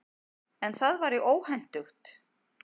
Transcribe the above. En það væri óhentugt.